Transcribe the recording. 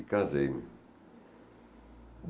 E casei.